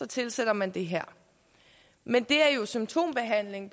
tilsætter man det her men det er jo symptombehandling